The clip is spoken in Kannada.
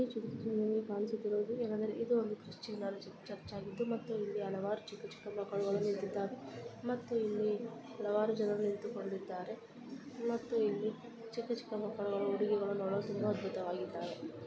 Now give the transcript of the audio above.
ಈ ಚಿತ್ರದಲ್ಲಿ ಕಾಣಿಸುತ್ತಿರುವುದು ಇದು ಒಂದು ಚರ್ಚ್ ಆಗಿದ್ದು ಮತ್ತು ಇಲ್ಲಿ ಹಲವಾರು ಚಿಕ್ಕ ಚಿಕ್ಕ ಮಕ್ಕಳು ನಿಂತಿದ್ದಾರೆ ಮತ್ತು ಇಲ್ಲಿ ಹಲವಾರು ಜನರು ನಿಂತಿಕೊಂಡಿದ್ದಾರೆ ಮತ್ತೆ ಇಲ್ಲಿ ಚಿಕ್ಕ ಚಿಕ್ಕ ಮಕ್ಕಳು ಉಡುಗೆಗಳು ನೋಡಲು ತುಂಬಾ ಅದ್ಭುತವಾಗಿದೆ